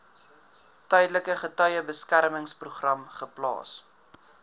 tydelike getuiebeskermingsprogram geplaas